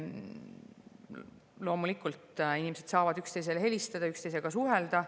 Loomulikult, inimesed saavad üksteisele helistada, üksteisega suhelda.